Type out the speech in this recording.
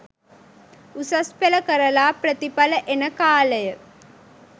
උසස් පෙළ කරලා ප්‍රතිඵල එන කාලය